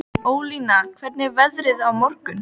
Ólína, hvernig er veðrið á morgun?